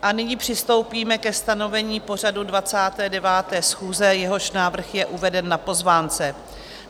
A nyní přistoupíme ke stanovení pořadu 29. schůze, jehož návrh je uveden na pozvánce.